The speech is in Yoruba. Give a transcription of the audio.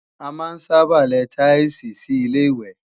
A máa ń sábà lẹ táílsìì sí Ilé-ìwẹ̀